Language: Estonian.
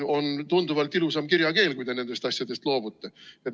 On tunduvalt ilusam kirjakeel, kui te nendest asjadest loobute.